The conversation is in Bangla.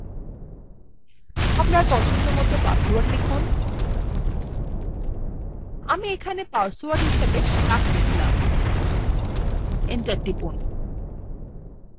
আপনার পছন্দমত পাসওয়ার্ড লিখুন আমি এখানে পাসওয়ার্ড হিসাবে duck লিখলাম enter টিপুন